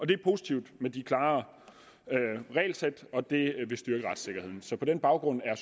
det er positivt med det klare regelsæt og det vil styrke retssikkerheden så på den baggrund er